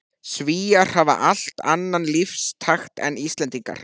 Svíar hafa allt annan lífstakt en Íslendingar.